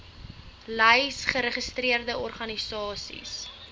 lys geregistreerde organisasies